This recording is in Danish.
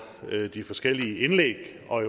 de forskellige indlæg og